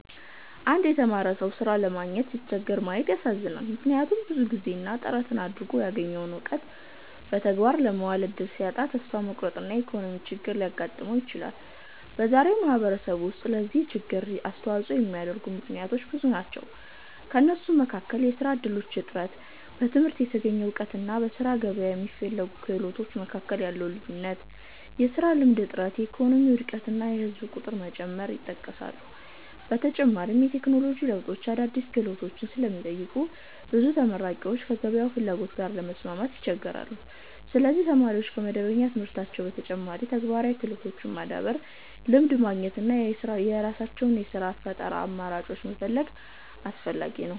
አንድ የተማረ ሰው ሥራ ለማግኘት ሲቸገር ማየት ያሳዝናል፤ ምክንያቱም ብዙ ጊዜና ጥረት አድርጎ ያገኘውን እውቀት በተግባር ለማዋል እድል ሲያጣ ተስፋ መቁረጥና የኢኮኖሚ ችግር ሊያጋጥመው ይችላል። በዛሬው ማህበረሰብ ውስጥ ለዚህ ችግር የሚያስተዋጽኦ የሚያደርጉ ምክንያቶች ብዙ ናቸው። ከእነሱም መካከል የሥራ እድሎች እጥረት፣ በትምህርት የተገኘ እውቀትና በሥራ ገበያ የሚፈለጉ ክህሎቶች መካከል ያለው ልዩነት፣ የሥራ ልምድ እጥረት፣ የኢኮኖሚ ውድቀት እና የህዝብ ቁጥር መጨመር ይጠቀሳሉ። በተጨማሪም የቴክኖሎጂ ለውጦች አዳዲስ ክህሎቶችን ስለሚጠይቁ ብዙ ተመራቂዎች ከገበያው ፍላጎት ጋር ለመስማማት ይቸገራሉ። ስለዚህ ተማሪዎች ከመደበኛ ትምህርታቸው በተጨማሪ ተግባራዊ ክህሎቶችን ማዳበር፣ ልምድ ማግኘት እና የራሳቸውን የሥራ ፈጠራ አማራጮች መፈለግ አስፈላጊ ነው።